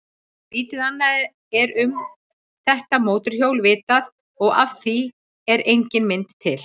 Lítið annað er um þetta mótorhjól vitað og af því er engin mynd til.